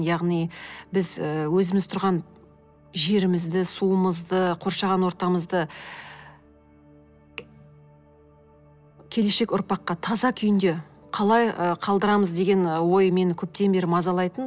яғни біз і өзіміз тұрған жерімізді суымызды қоршаған ортамызды келешек ұрпаққа таза күйінде қалай ы қалдырамыз деген ой мені көптен бері мазалайтын